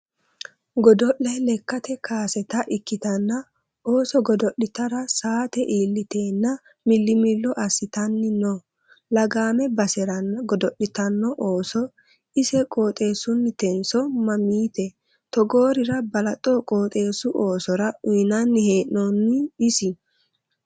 Godo'le lekkate kaasetta ikkittanna ooso godo'littara saate iillitenna milimillo assittanni no lagame baseranna godo'littano ooso ise qooxeesunnitenso mamite togoorira balaxo qooxeesu oosora uyinanni hee'nonni isi ?